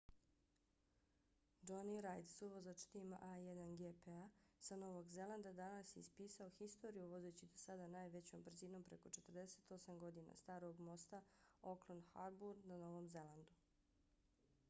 jonny reid suvozač tima a1gp-a sa novog zelanda danas je ispisao historiju vozeći do sada najvećom brzinom preko 48 godina starog mosta auckland harbour na novom zelandu